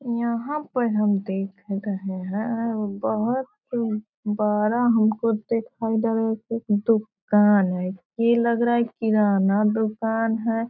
यहाँ पर हम देख गए है वो बहुत ही बड़ा हमको दिखाई दे रही थी दुकान है ये लग रहा है किराना दुकान है।